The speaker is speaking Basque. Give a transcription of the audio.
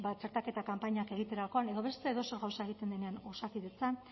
txertaketa kanpainak egiterakoan edo beste edozer gauza egiten denean osakidetzan